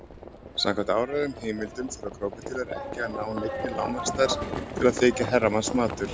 Samkvæmt áreiðanlegum heimildum þurfa krókódílar ekki að ná neinni lágmarksstærð til að þykja herramannsmatur.